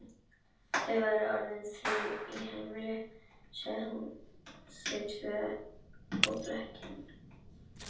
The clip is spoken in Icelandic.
Þau væru nú orðin þrjú í heimili, sagði hún, þau tvö og blekkingin.